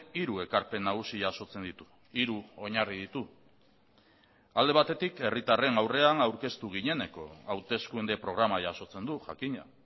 hiru ekarpen nagusi jasotzen ditu hiru oinarri ditu alde batetik herritarren aurrean aurkeztu gineneko hauteskunde programa jasotzen du jakina